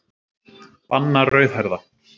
Banna rauðhærða.